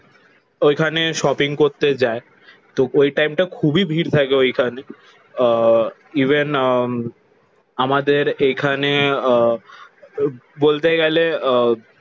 ওইখানে শপিং করতে যায়। তো ওই টাইমটা খুবই ভিড় থাকে ওইখানে। আহ ইভেন আহ আমাদের এইখানে আহ বলতে গেলে আহ